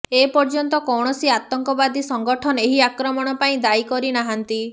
ଏପର୍ଯ୍ୟନ୍ତ କୌଣସି ଆତଙ୍କବାଦୀ ସଂଗଠନ ଏହି ଆକ୍ରମଣ ପାଇଁ ଦାୟୀ କରି ନାହାନ୍ତି